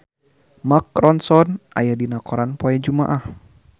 Mark Ronson aya dina koran poe Jumaah